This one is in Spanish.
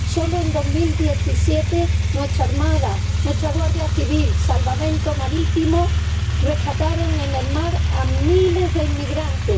Solo en 2017 nuestra Armada, nuestra Guardia Civil y Salvamento Marítimo rescataron en el mar a miles de inmigrantes.